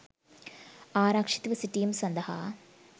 ආරක්ෂිතව සිටීම සඳහා